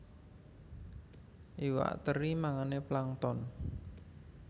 Iwak teri mangané plankton